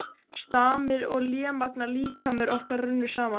Stamir og lémagna líkamir okkar runnu saman.